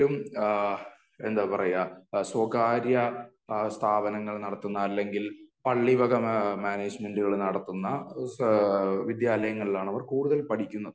എഹ് അവർക്ക് കൂടുതലും ഏഹ് എന്താ പറയെ സ്വകാര്യ സ്ഥാപനങ്ങൾ നടത്തുന്ന അല്ലെങ്കിൽ പള്ളി വക മാനേജ്‌മെറ്റുകൾ നടത്തുന്ന വിദ്യാലയങ്ങളിൽ ആണ് അവർ കൂടുതൽ പഠിക്കുന്നത്